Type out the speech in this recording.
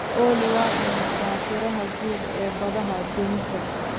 olly waa imisa tirada guud ee badaha aduunka